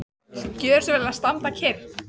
Og viltu gjöra svo vel að standa kyrr.